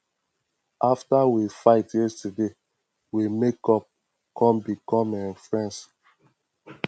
after we fight yesterday we make up come become um friends